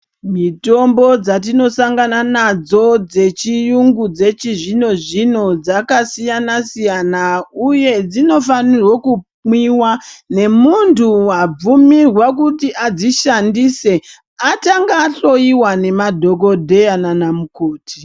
Mitombo dzatinosangana nadzo dzechiyungu dzechizvino zvino dzakasiyana siyana uye dzinofanirwa kumwiwa ngemuntu wabvumirwe kuti adzishandise atanga ahloyiwa nemadhokodheya nanamukoti.